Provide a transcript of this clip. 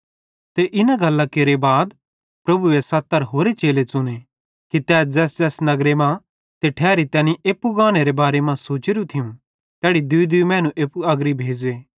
ते इन गल्लां केरे बाद प्रभुए 70 होरे चेले ठहराए कि ते ज़ैसज़ैस नगर ते ठैरी तैनी एप्पू गानेरे बारे मां सोचोरू थियूं तैड़ी दूईदूई मैनू एप्पू अग्री भेज़े